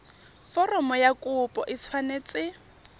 foromo ya kopo e tshwanetse